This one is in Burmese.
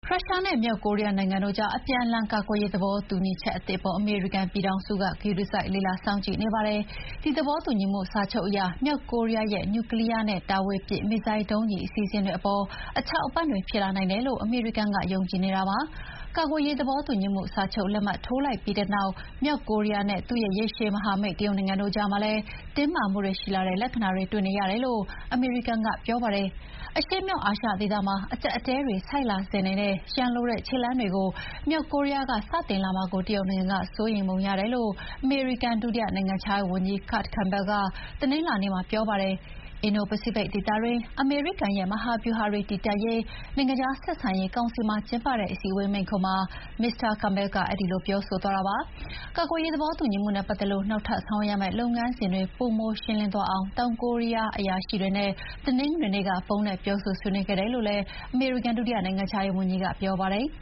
ရုရှားနဲ့မြောက်ကိုရီးယားနိုင်ငံတို့ကြား အပြန်အလှန်ကာကွယ်ရေးသဘောတူညီချက်သစ်အပေါ် အမေရိကန်ပြည်ထောင်စုက ဂရုတစိုက်လေ့လာနေပါတယ်။ ဒီသဘောတူညီမှုစာချုပ်အရ မြောက်ကိုရီးယားရဲ့ နျူကလီးယားနဲ့ တာဝေးပစ်မစ်ဇိုင်းဒုံးကျည် အစီအစဥ်တွေအပေါ် အထောက်အပံ့တွေဖြစ်လာနိုင်တယ်လို့ အမေရိကန်က ယုံကြည်နေပါတယ်။ ကာကွယ်ရေးသဘောတူညီမှုစာချုပ်လက်မှတ်ထိုးလိုက်ပြီးတဲ့နောက် မြောက်ကိုရီးယားနဲ့ သူ့ရဲ့ ရေရှည်မဟာမိတ် တရုတ်နိုင်ငံတို့ကြားမှာလည်း တင်းမာတဲ့လက္ခဏာတွေတွေ့နေရတယ်လို့ အမေရိကန်က ပြောပါတယ်။ အရှေ့မြောက်အာရှဒေသမှာ အကျပ်အတည်းတွေဆိုက်လာစေနိုင်တဲ့ ရန်လိုတဲ့ခြေလှမ်းတွေကို မြောက်ကိုရီးယားက စတင်လာမှာကိုတရုတ်နိုင်ငံက စိုးရိမ်ပုံရတယ်လို့ အမေရိကန်ဒုတိယနိုင်ငံခြားရေးဝန်ကြီး Kurt Campbell က တနင်္လာနေ့မှာပြောပါတယ်။ အင်ဒို-ပစိဖိတ်ဒေသတွင်း အမေရိကန်ရဲ့ မဟာဗျူဟာတွေတည်တံ့ရေး နိုင်ငံခြားဆက်ဆံရေးကောင်စီမှာကျင်းပတဲ့ အစည်းအဝေးမိန့်ခွန်းမှာ Mr Cambell ကအဲဒီလိုပြောဆိုသွားတာပါ။ ကာကွယ်ရေးသဘောတူညီမှုနဲ့ပတ်သက်လို့ နောက်ထပ်ဆောင်ရွက်ရမယ့်လုပ်ငန်းစဥ်တွေ ပိုမိုရှင်းလင်းသွားအောင် တောင်ကိုရီးယားအရာရှိတွေနဲ့ တနင်္ဂနွေနေ့ကဖုန်းနဲ့ ပြောဆိုဆွေးနွေးခဲ့တယ်လို့လည်း အမေရိကန်ဒုတိယနိုင်ငံခြားရေးဝန်ကြီး Campbell ကပြောပါတယ်။